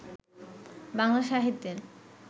বাংলা সাহিত্যের